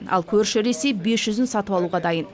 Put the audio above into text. ал көрші ресей бес жүзін сатып алуға дайын